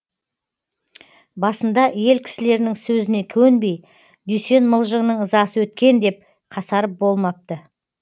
басында ел кісілерінің сөзіне көнбей дүйсен мылжыңның ызасы өткен деп қасарып болмапты